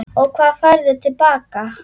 Og hvað færðu til baka?